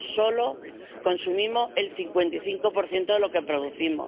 solo consumimos el 55 de lo que producimos.